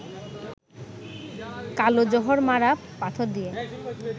কালো জহর-মারা পাথর দিয়ে